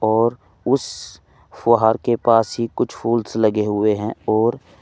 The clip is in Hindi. और उस फुहार के पास ही कुछ फूल्स लगे हुए हैं और--